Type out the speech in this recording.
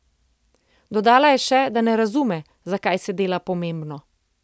Dodala je še, da ne razume, zakaj se dela pomembno.